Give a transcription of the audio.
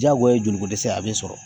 Diyagoya ye joli ko dɛsɛ a bɛ sɔrɔ